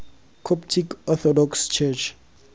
coptic orthodox church